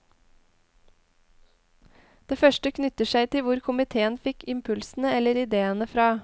Det første knytter seg til hvor komiteen fikk impulsene eller ideene fra.